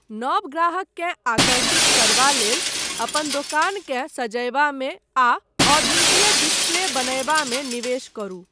नव ग्राहककेँ आकर्षित करबा लेल, अपन दोकानकेँ सजयबामे आ अद्वितीय डिस्प्ले बनयबा मे निवेश करू।